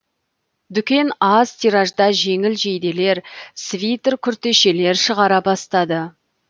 дүкен аз тиражда жеңіл жейделер свитер күртешелер шығара бастады